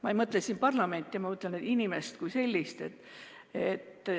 Ma ei mõtle siin parlamenti, vaid inimest kui sellist.